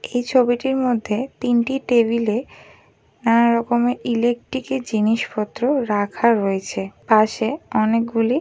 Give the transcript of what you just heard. এই ছবিটির মধ্যে তিনটি টেবিলে নানা রকমের ইলেকট্রিক জিনিসপত্র রাখা রয়েছে। পাশে অনেক গুলি--